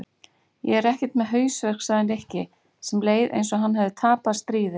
Ég er ekkert með hausverk sagði Nikki sem leið eins og hann hefði tapað stríði.